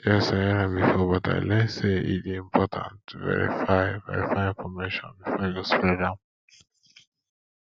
yes i hear am before but i learn say e dey important to verify verify information before you go spread am